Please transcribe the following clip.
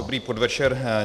Dobrý podvečer.